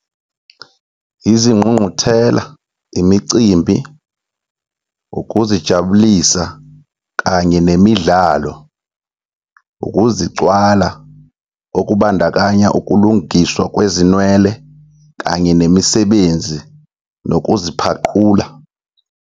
Izingqungquthela, imicimbi, ukuzijabulisa kanye nemidlalo. Ukuzicwala, okubandakanya ukulungiswa kwezinwele kanye nemisebenzi nokuziphaqula.